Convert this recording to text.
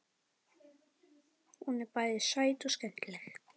Hún er bæði sæt og skemmtileg.